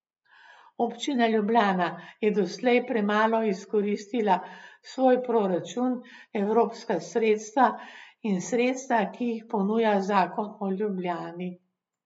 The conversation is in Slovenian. Občina Ljubljana je doslej premalo izkoristila svoj proračun, evropska sredstva in sredstva, ki jih ponuja zakon o Ljubljani.